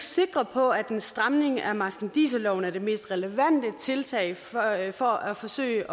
sikre på at en stramning af marskandiserloven er det mest relevante tiltag for at for at forsøge